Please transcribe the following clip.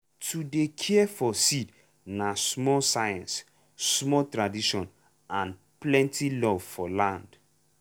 to dey care for seed na small science small tradition and plenty love for land.